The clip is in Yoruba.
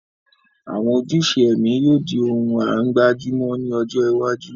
Àwọn ojúṣe ẹ̀mí yóò di ohun à ń gbájú mọ́ ní ọjọ́ iwájú